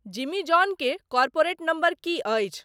जिमी जॉन के corporate number की अछि